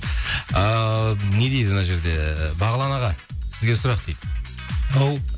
ыыы не дейді мына жерде бағлан аға сізге сұрақ дейді ау